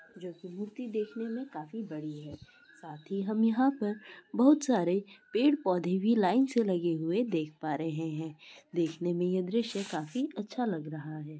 जो कि मूर्ति देखने में काफी बड़ी है साथ ही हम यहां पर बहुत सारे पेड़ पौधे भी लाइन से लगे हुए देख पा रहै हैं देखने में यह दृश्य काफी अच्छा लग रहा है।